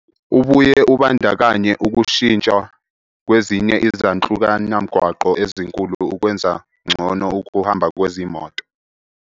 Ubuye ubandakanye ukushintshwa kwezinye izanhlukanamgwaqo ezinkulu ukwenza ngcono ukuhamba kwezimoto.